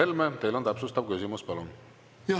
Mart Helme, täpsustav küsimus, palun!